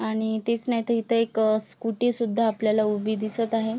आणि तेच नाय तर इथे एक स्कूटीसुद्धा आपल्याला उभी दिसत आहे.